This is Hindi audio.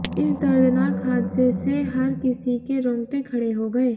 इस दर्दनाक हादसे से हर किसी के रौंगटे खडे़ हो गए